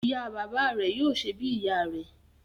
Ìyá bàbá rẹ̀ yóò ṣè bí ìyá rè